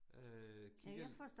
Øh kigger lidt